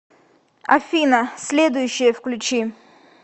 афина следующее включи